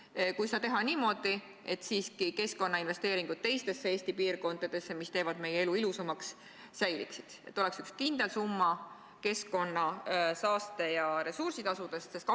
Aga kui seda teha niimoodi, et keskkonnainvesteeringud teistesse Eesti piirkondadesse, mis teevad meie elu ilusamaks, säiliksid, ja Ida-Virumaale läheks üks kindel summa keskkonna-, saaste- ja ressursitasudest?